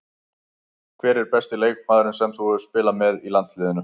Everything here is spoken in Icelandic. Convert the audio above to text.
Hver er besti leikmaðurinn sem þú hefur spilað með í landsliðinu?